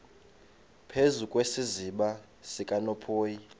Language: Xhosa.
phezu kwesiziba sikanophoyi